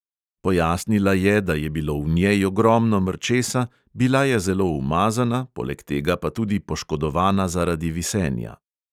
Pojasnila je, da je bilo v njej ogromno mrčesa, bila je zelo umazana, poleg tega pa tudi poškodovana zaradi visenja.